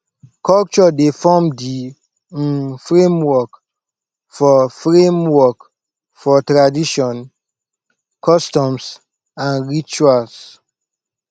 culture dey form di um framework for framework for tradition customs and rituals